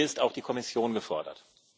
hier ist auch die Kommission gefordert.